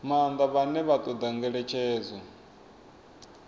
maanḓa vhane vha ṱoḓa ngeletshedzo